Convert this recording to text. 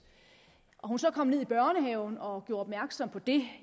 og hun så kom ned i børnehaven og gjorde opmærksom på det